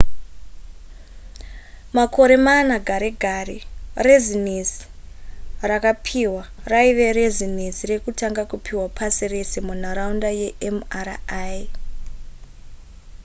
makore mana gare gare rezinesi rakapiwa raiva rezinesi rekutanga kupiwa pasi rese munharaunda yemri